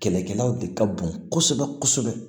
Kɛlɛkɛlaw de ka bon kosɛbɛ kosɛbɛ